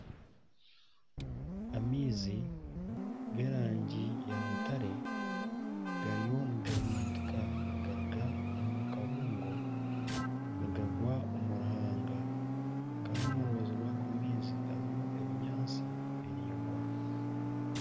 Amaizi g'erangi ya mutare gariyo nigahimintika nigaruga omu kabuungo nigagwa omu ruhanga kandi omurubaju rwago maizi harimu ebinyaatsi biringwa.